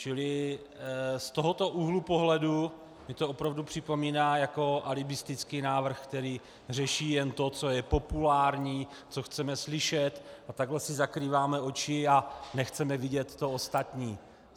Čili z tohoto úhlu pohledu mi to opravdu připomíná jako alibistický návrh, který řeší jen to, co je populární, co chceme slyšet, a takhle si zakrýváme oči a nechceme vidět to ostatní.